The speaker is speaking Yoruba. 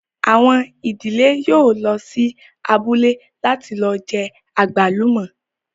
Àwọn ìdílé yóò lọ sí abúlé láti lọ jẹ àgbálùmọ́